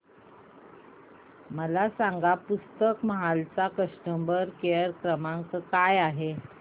मला सांगा पुस्तक महल चा कस्टमर केअर क्रमांक काय आहे